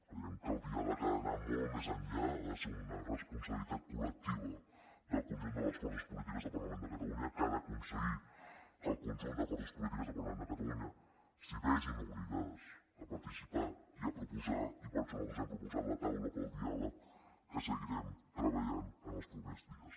creiem que el diàleg ha d’anar molt més enllà ha de ser una responsabilitat col·lectiva del conjunt de les forces polítiques del parlament de catalunya que ha d’aconseguir que el conjunt de forces polítiques del parlament de catalunya s’hi vegin obligades a participar i a proposar i per això nosaltres hem proposat la taula pel diàleg en què seguirem treballant els propers dies